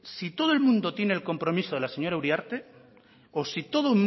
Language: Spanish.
si todo el mundo tiene el compromiso de la señora uriarte o si todo